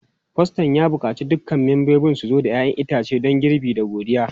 Faston ya buƙaci dukkan membobin su zo da 'ya'yan itace don girbi da godiya.